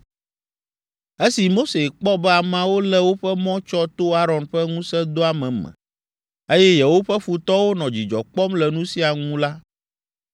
Esi Mose kpɔ be ameawo lé woƒe mɔ tsɔ to Aron ƒe ŋusẽdoame me, eye yewoƒe futɔwo nɔ dzidzɔ kpɔm le nu sia ŋu la,